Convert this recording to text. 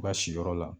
U ka siyɔrɔ la